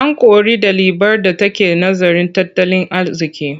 An kori ɗalibar da take nazarin tattalin arziƙi.